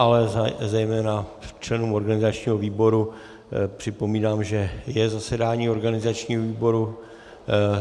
Ale zejména členům organizačního výboru připomínám, že je zasedání organizačního výboru.